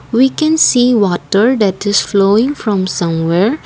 we can see water that is flowing from some where.